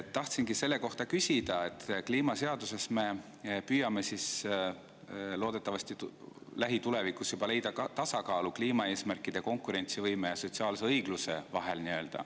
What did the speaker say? Tahtsingi küsida selle kohta, et kliimaseaduses me püüame siis loodetavasti lähitulevikus leida tasakaalu kliimaeesmärkide, konkurentsivõime ja sotsiaalse õigluse vahel.